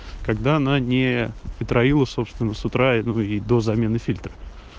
когда она не траила собственного с утра и до замены фильтра